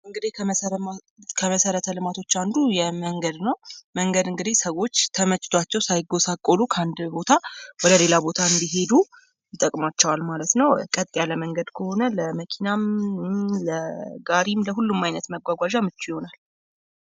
እንግዲህ ከመሰረተ ልማቶች አንዱ የመንገድ ነው:: መንገድ እንግዲ ሰዎች ተመችቷቸው ሳይጎሳቆሉ ከአንድ ቦታ ወደ ሌላ ቦታ እንዲሄዱ ይጠቅማቸዋል ማለት ነው :: ቀጥ ያለ መንገድ ከሆነ ለመኪናም ለጋሪም ለሁሉም ዓይነት መጓጓዣ ምቹ ይሆናል ::